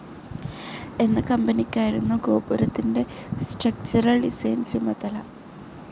എന്ന കമ്പനിയ്ക്കായിരുന്നു ഗോപുരത്തിന്റെ സ്ട്രക്ചറൽ ഡിസൈൻ ചുമതല.